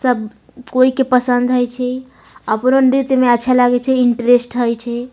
सब कोई के पसंद होय छै अच्छा लागे छै इंट्रेस्ट होय छै।